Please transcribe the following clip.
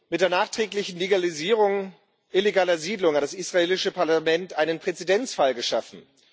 Mit der nachträglichen Legalisierung illegaler Siedlungen hat das israelische Parlament einen Präzedenzfall geschaffen.